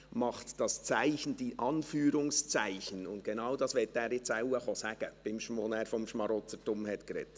Er machte das Zeichen, die Anführungszeichen, als er vom Schmarotzertum sprach, und genau dies will er jetzt vermutlich sagen kommen.